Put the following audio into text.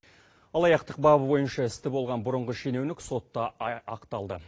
алаяқтық бабы бойынша істі болған бұрынғы шенеунік сотта ақталды